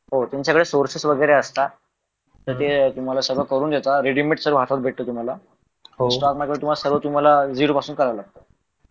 हो तुमच्याकडे सोर्सेस वगैरे असतात तर ते सगळं तुम्हाला करून देतात रेडीमेड सर्व हातात भेटत तुम्हाला स्टॉक मार्केट मध्ये सर्व तुम्हाला झिरो पासून करावं लागतं